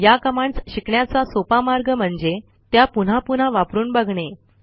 या कमांडस शिकण्याचा सोपा मार्ग म्हणजे त्या पुन्हा पुन्हा वापरून बघणे